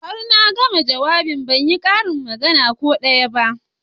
Har na gama jawabin ban yi karin magana ko daya ba